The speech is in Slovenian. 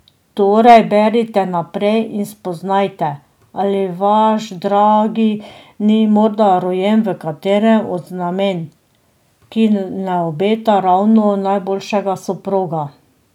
Torej berite naprej in spoznajte, ali vaš dragi ni morda rojen v katerem od znamenj, ki ne obeta ravno najboljšega soproga.